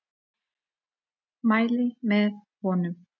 Mæli með honum.